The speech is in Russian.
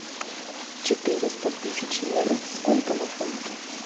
четыреста тысяч евро сколько на фунты